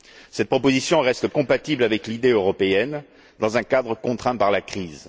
Cette proposition reste compatible avec l'idée européenne, dans un cadre contraint par la crise.